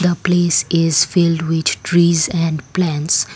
the place is filled with trees and plants.